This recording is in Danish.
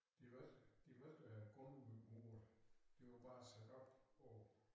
De var ikke de var ikke øh grundmuret de var bare sat op på